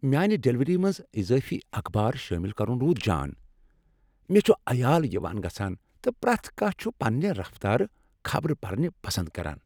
میٛانہ ڈلیوری منٛز اضٲفی اخبار شٲمل کرن روٗد جان! مےٚ چھ عیال یوان گژھان، تہٕ پرٛیتھ کانٛہہ چھ پننہ رفتارٕ خبرٕ پرنہ پسند کران۔